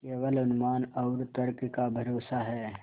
केवल अनुमान और तर्क का भरोसा है